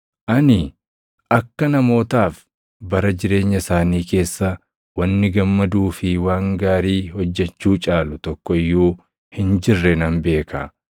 Ani akka namootaaf bara jireenya isaanii keessa wanni gammaduu fi waan gaarii hojjechuu caalu tokko iyyuu hin jirre nan beeka.